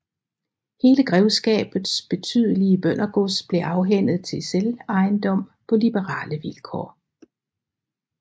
Hele grevskabets betydelige bøndergods blev afhændet til selvejendom på liberale vilkår